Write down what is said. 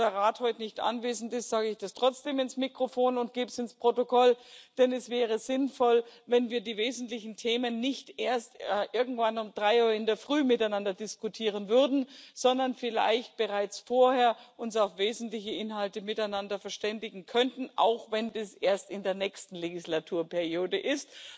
da der Rat heute nicht anwesend ist, sage ich das trotzdem ins Mikrofon und gebe es ins Protokoll, denn es wäre sinnvoll, wenn wir die wesentlichen Themen nicht erst irgendwann um drei Uhr in der Früh miteinander diskutieren würden, sondern uns vielleicht bereits vorher miteinander auf wesentliche Inhalte verständigen könnten, auch wenn das erst in der nächsten Legislaturperiode ist.